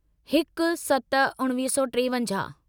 हिक सत उणिवीह सौ टेवंजाहु